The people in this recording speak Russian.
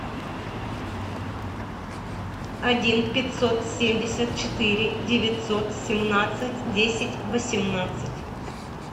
один пятьсот семьдесят четыре девятьсот семнадцать десять восемнадцать